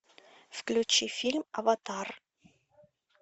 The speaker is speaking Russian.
включи фильм аватар